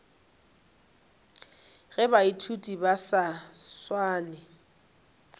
ge baithuti ba sa swane